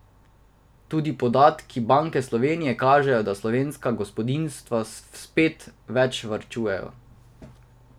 Tudi podatki Banke Slovenije kažejo, da slovenska gospodinjstva spet več varčujejo.